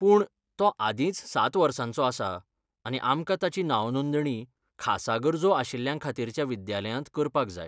पूण, तो आदींच ,सात वर्सांचो आसा आनी आमकां ताची नांवनोदणी खासा गरजो आशिल्ल्यांखातीरच्या विद्यालयांत करपाक जाय.